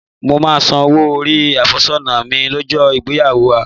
Mo máa san owó orí àfẹ́sọ́nà mi lọ́jọ́ ìgbéyàwó wa